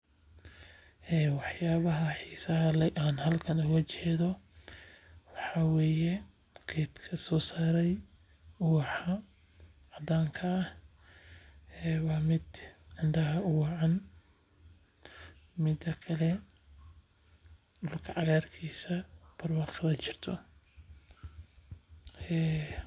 Wax yaabaha xiisaha leh aan halkan ooga jeeda waxaa waye geedka soo saare ubaxa cadaanka ah waa mid indaha uwacan mida kale dulka cagaar kiisa barwaqada jirto.